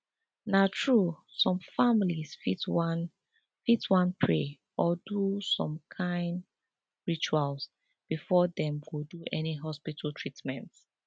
na true some families fit wan fit wan pray or do some kind rituals before dem do any hospital treatment